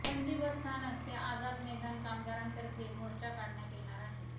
Panaji bus स्थानक ते आझाद मैदान कामगारांतर्फे मोर्चा काढण्यात येणार आहे